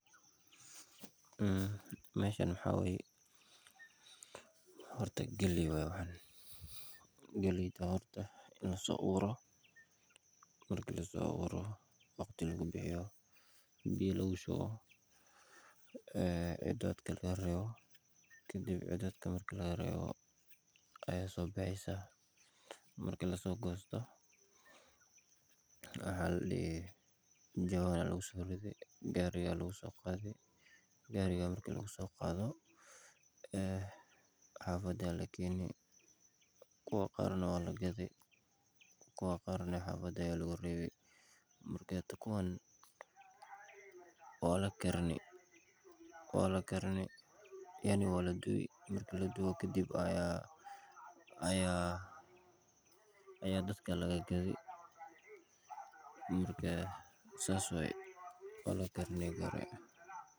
Meeshan waxaa waye galeey waye waxan horta in lasoo abuuro waqti lagu bixiyo biya lagu shubo dadka laga reebo marko lasoo goosto jawaan ayaa laguso rido gaari ayaa lasoo saarti xafada ayaa lakeeni waa kadubi kadib ayaa dadaka laga dagi.